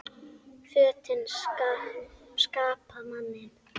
Fötin skapa manninn